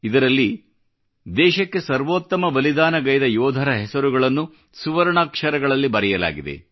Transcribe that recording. ಇದರಲ್ಲಿ ದೇಶಕ್ಕೆ ಸರ್ವೋತ್ತಮ ಬಲಿದಾನಗೈದ ಯೋಧರ ಹೆಸರುಗಳನ್ನು ಸುವರ್ಣಾಕ್ಷರಗಳಲ್ಲಿ ಬರೆಯಲಾಗಿದೆ